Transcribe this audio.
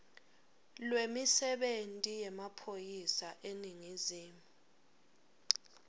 lwemisebenti yemaphoyisa eningizimu